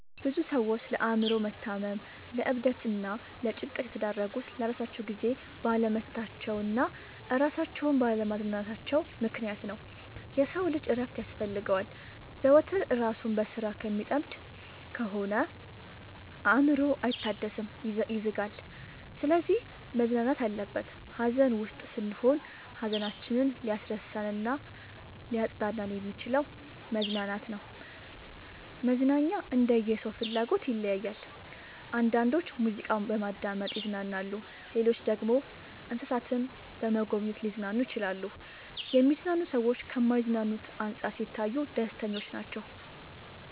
ብዙ ሰዎች ለአእምሮ መታመም ለዕብደት እና ለጭንቀት የተዳረጉት ለራሳቸው ጊዜ ባለመስጠታቸው እና እራሳቸውን ባለ ማዝናናታቸው ምክንያት ነው። የሰው ልጅ እረፍት ያስፈልገዋል። ዘወትር እራሱን በስራ ከሚጠምድ ከሆነ አእምሮው አይታደስም ይዝጋል። ስለዚህ መዝናናት አለበት። ሀዘን ውስጥ ስንሆን ሀዘናችንን ሊያስረሳን እናሊያፅናናን የሚችለው መዝናናት ነው። መዝናናኛ እንደየ ሰው ፍላጎት ይለያያል። አንዳንዶች ሙዚቃ በማዳመጥ ይዝናናሉ ሌሎች ደግሞ እንሰሳትን በመጎብኘት ሊዝናኑ ይችላሉ። የሚዝናኑ ሰዎች ከማይዝናኑት አንፃር ሲታዩ ደስተኞች ናቸው።